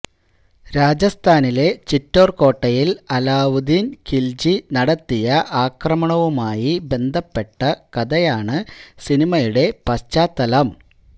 രാജസ്ഥാനിലെ ചിറ്റോര് കോട്ടയില് അലാവുദ്ദീന് ഖില്ജി നടത്തിയ ആക്രമണവുമായി ബന്ധപ്പെട്ട കഥയാണ് സിനിമയുടെ പശ്ചാത്തലം